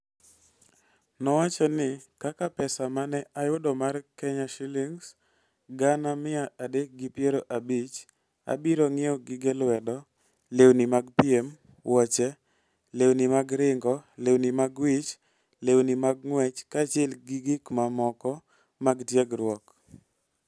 Nowacho ni, "Kaka pesa ma ne ayudo mar Ksh. Gana mia adek gi piero abich, abiro ng'iewo gige lwedo, lewni mag piem, wuoche, lewni mag ringo, lewni mag wich, lewni mag ng'wech, kaachiel gi gik mamoko mag tiegruok".